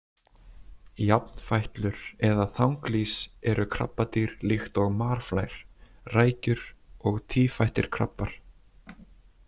Jafnfætlur eða þanglýs eru krabbadýr líkt og marflær, rækjur og tífættir krabbar.